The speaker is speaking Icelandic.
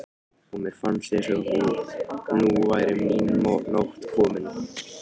og mér fannst eins og nú væri mín nótt komin.